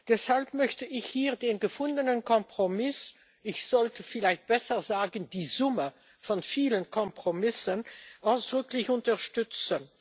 Deshalb möchte ich hier den gefundenen Kompromiss ich sollte vielleicht besser sagen die Summe von vielen Kompromissen ausdrücklich unterstützen.